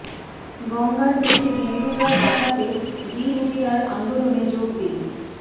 গঙ্গার প্রতি বিন্দু জল বাঁচাতে জি মিডিয়ার আন্দোলনে যোগ দিন